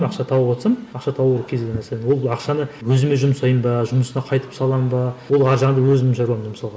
ақша тауыватсам ақша табу кез келген нәрсені ол ақшаны өзіме жұмсаймын ба жұмысына қайтып саламын ба ол ар жағында өзімнің шаруам мысалға